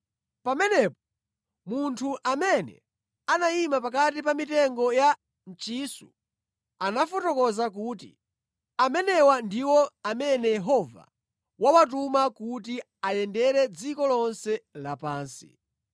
Pamenepo munthu amene anayima pakati pa mitengo ya mchisu anafotokoza kuti, “Amenewa ndiwo amene Yehova wawatuma kuti ayendere dziko lonse lapansi.”